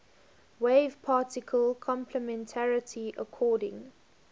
wave particle complementarity according